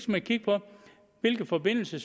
man kigge på hvilke forbindelser